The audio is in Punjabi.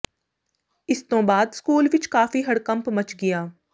ਇਸ ਤੋਂ ਬਾਅਦ ਸਕੂਲ ਵਿਚ ਕਾਫੀ ਹੜਕੰਪ ਮਚ ਗਿਆ